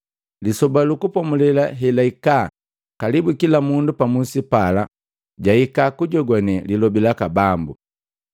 Lisoba lu Kupomulela helahika, kalibu kila mundu pamusi pala jahika kujogwane lilobi laka Bambu.